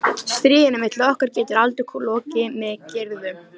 Stríðinu milli okkar getur aldrei lokið með griðum.